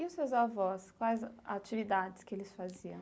E os seus avós, quais atividades que eles faziam?